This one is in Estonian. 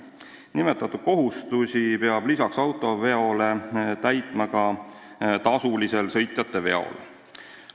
Nimetatud kohustusi peab lisaks veoseveole täitma ka tasulisel sõitjateveol.